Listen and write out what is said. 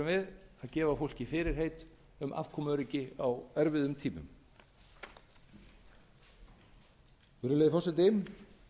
við að gefa fólki fyrirheit um afkomuöryggi á erfiðum tímum virðulegi forseti